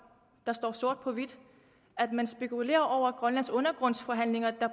der står sort på hvidt at man spekulerede over grønlands undergrundsforhandlinger der